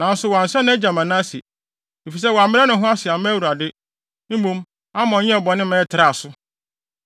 Nanso wansɛ nʼagya Manase, efisɛ wammrɛ ne ho ase amma Awurade. Mmom, Amon yɛɛ bɔne maa ɛtraa so.